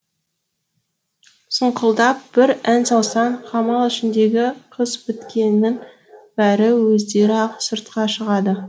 сұңқылдап бір ән салсаң қамал ішіндегі қыз біткеннің бәрі өздері ақ сыртқа шығады